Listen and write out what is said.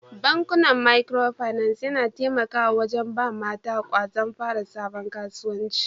Bankuna Micro finance yana taimako wajen ba mata kwazon fara sabon kasuwanci.